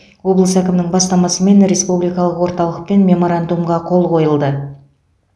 облыс әкімінің бастамасымен республикалық орталықпен меморандумға қол қойылды